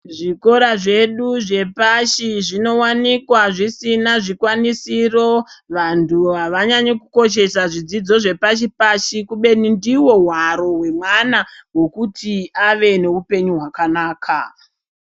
Zvikora zvedu zvepashi zvinowanikwa zvisina zvikwanisiro. Vantu havanyanyi kukoshesa zvidzidzo zvepashipashi kebeni ndiwo hwaro hwemwana hwekuti avenohupenyu hwakanaka.